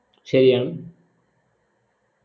ശരിയാണ്